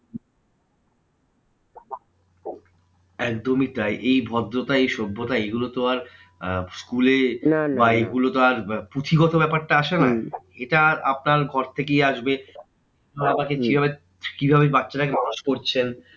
একদমই তাই এই ভদ্রতা এই সভ্যতা এইগুলো তো আর আহ school এ বা এগুলোতো আর পুঁথিগত ব্যাপারটা আসে না। এটা আপনার ঘর থেকেই আসবে বাবা মা কে কিভাবে কিভাবে ওই বাচ্চাটাকে মানুষ করছেন?